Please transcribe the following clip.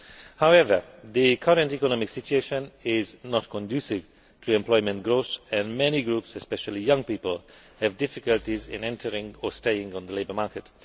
However, the current economic situation is not conducive to employment growth and many groups, especially young people, have difficulties in entering, or staying in, the labour market.